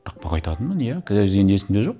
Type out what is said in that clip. тақпақ айтатынмын иә қазір енді есімде жоқ